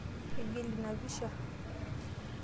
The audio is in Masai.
Igil ina pisha.